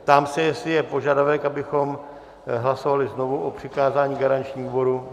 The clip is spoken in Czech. Ptám se, jestli je požadavek, abychom hlasovali znovu o přikázání garančnímu výboru.